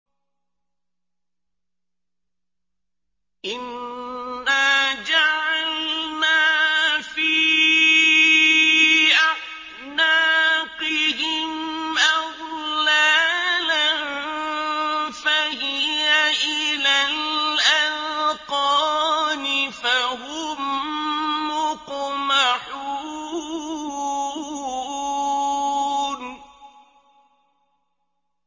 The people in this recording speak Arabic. إِنَّا جَعَلْنَا فِي أَعْنَاقِهِمْ أَغْلَالًا فَهِيَ إِلَى الْأَذْقَانِ فَهُم مُّقْمَحُونَ